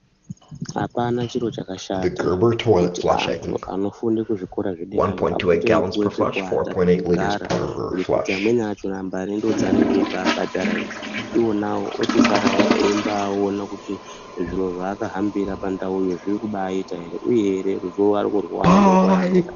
Apana chiro chakashata, kuti antu anofunde kuzvikora zvederayo apote eipuwe pekuwata pekugara, ngekuti amweni achona mbare ndodzeanenga eibaabhadhara idzi, iwona ochisarawo eibaaone kuti zviro zvaakahambira pandauyo zviri kubaaita ere, uyehe vari kurwawo ere nenguva yavanoda.